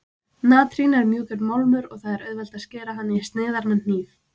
Natrín er mjúkur málmur og það er auðvelt að skera hann í sneiðar með hníf.